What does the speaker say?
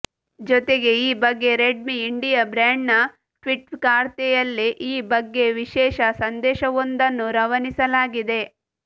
ಜೊತೆಗೆ ಈ ಬಗ್ಗೆ ರೆಡ್ಮಿ ಇಂಡಿಯಾ ಬ್ರ್ಯಾಂಡ್ನ ಟ್ವಿಟ್ಟರ್ಖಾತೆಯಲ್ಲಿ ಈ ಬಗ್ಗೆ ವಿಶೇಷ ಸಂದೇಶವೊಂದನ್ನು ರವಾನಿಸಲಾಗಿದೆ